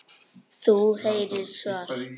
Þú heyrir svar.